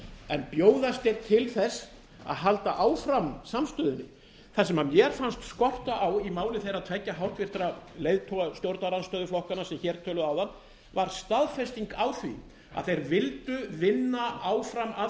en bjóðast þeir til þess að halda áfram samstöðunni það sem mér fannst skorta á í máli þeirra tveggja háttvirtur leiðtoga stjórnarandstöðuflokkanna sem hér töluðu áðan var staðfest á því að þeir vildu vinna áfram að